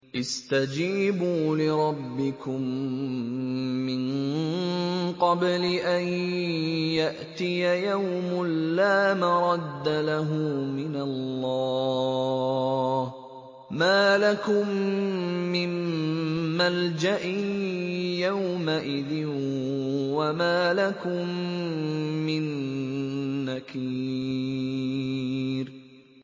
اسْتَجِيبُوا لِرَبِّكُم مِّن قَبْلِ أَن يَأْتِيَ يَوْمٌ لَّا مَرَدَّ لَهُ مِنَ اللَّهِ ۚ مَا لَكُم مِّن مَّلْجَإٍ يَوْمَئِذٍ وَمَا لَكُم مِّن نَّكِيرٍ